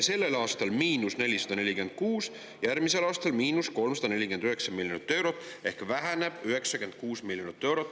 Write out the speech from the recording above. Sellel aastal on –446, järgmisel aastal –349 miljonit eurot ehk väheneb 96 miljonit eurot.